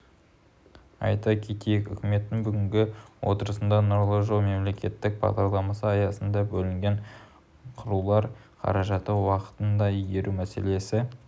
айта кетейік үкіметтің бүгінгі отырысында нұрлы жол мемлекеттік бағдарламасы аясында бөлінген қыруар қаражатты уақытында игеру мәселесі